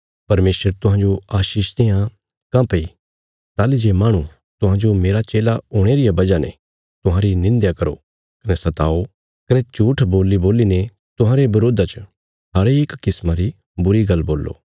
परमेशर तुहांजो आशीष देआं काँह्भई ताहली जे माहणु तुहांजो मेरा चेला हुणे रिया वजह ने तुहांरी निंध्या करो कने सताओ कने झूट्ठ बोल्लीबोल्लीने तुहांरे बरोधा च हरेक किस्मा री बुरी गल्ल बोल्ले